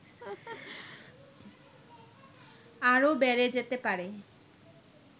আরও বেড়ে যেতে পারে